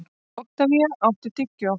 Oktavía, áttu tyggjó?